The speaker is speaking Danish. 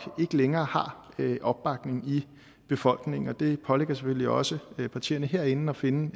ikke længere har opbakning i befolkningen og det pålægger selvfølgelig også partierne herinde at finde